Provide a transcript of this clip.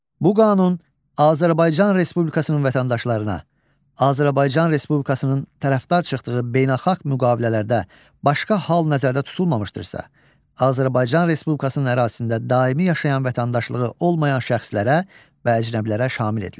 Bu qanun Azərbaycan Respublikasının vətəndaşlarına, Azərbaycan Respublikasının tərəfdar çıxdığı beynəlxalq müqavilələrdə başqa hal nəzərdə tutulmamışdırsa, Azərbaycan Respublikasının ərazisində daimi yaşayan vətəndaşlığı olmayan şəxslərə və əcnəbilərə şamil edilir.